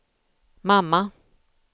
mamma